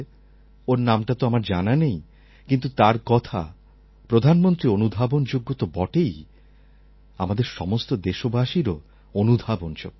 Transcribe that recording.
ওর নামটা তো আমার জানা নেই কিন্তু তার কথা প্রধানমন্ত্রীর অনুধাবনযোগ্য তো বটেই আমাদের সমস্ত দেশবাসীরও অনুধাবনযোগ্য